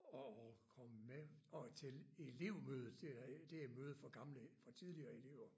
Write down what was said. At at komme med og til elevmødet det er mødet for gamle for tidligere elever